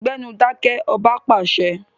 Gbẹ́nu dákẹ́! Ọba pàṣẹ.